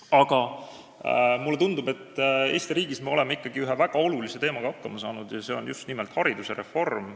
Aga mulle tundub, et Eesti riigis me oleme ikkagi ühe väga olulise asjaga hakkama saanud ja see on just nimelt haridusreform.